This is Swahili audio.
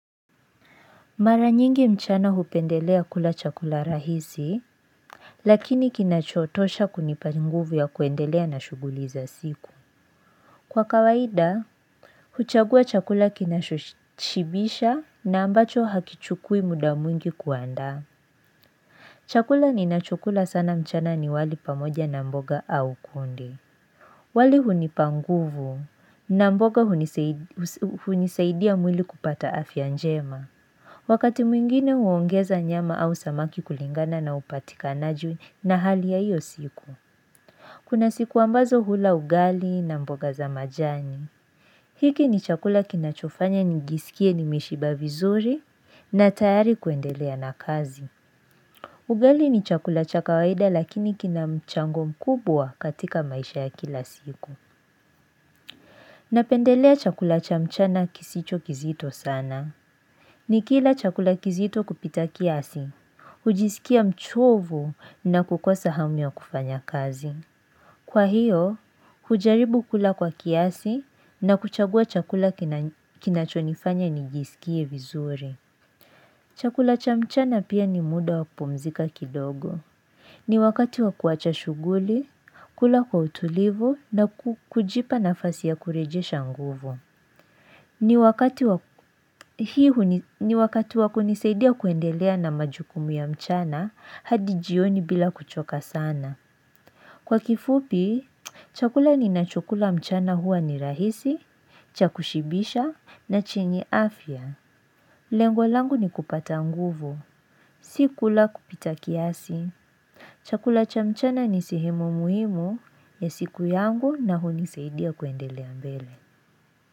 Mara nyingi mchana hupendelea kula chakula rahisi lakini kinachotosha kunipa nguvu ya kuendelea na shughuli za siku Kwa kawaida huchagua chakula kinachoshibisha na ambacho hakichukui muda mwingi kuandaa Chakula ninachokula sana mchana ni wali pamoja na mboga au kunde wali hunipa nguvu na mboga hunisaidia mwili kupata afya njema Wakati mwingine huongeza nyama au samaki kulingana na upatikanaji na hali ya hiyo siku Kuna siku ambazo hula ugali na mboga za majani hiki ni chakula kinachofanya nijiskie nimeshiba vizuri na tayari kuendelea na kazi Ugali ni chakula cha kawaida lakini kina mchango mkubwa katika maisha ya kila siku Napendelea chakula cha mchana kisicho kizito sana Nikila chakula kizito kupita kiasi hujisikia mchovu na kukosa hamu ya kufanya kazi Kwa hiyo hujaribu kula kwa kiasi na kuchagua chakula kinachonifanya nijisikie vizuri Chakula cha mchana pia ni muda wa kupumzika kidogo ni wakati wa kuacha shuguli kula kwa utulivu na kujipa nafasi ya kurejesha nguvu ni wakati wa kunisaidia kuendelea na majukumu ya mchana hadi jioni bila kuchoka sana Kwa kifupi chakula ninachokula mchana huwa ni rahisi cha kushibisha na chenye afya Lengo langu ni kupata nguvu si kula kupita kiasi Chakula cha mchana ni sehemu muhimu ya siku yangu na hunisaidia kuendelea mbele.